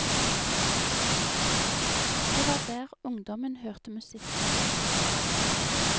Det var der ungdommen hørte musikk den gangen.